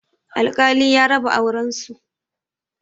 Alkali ya raba auren su